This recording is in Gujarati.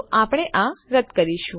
તો આપણે આ રદ કરીશું